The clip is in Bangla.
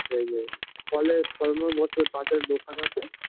যেই এ ফলের ফলমূল বসে পাশে দোকান আছে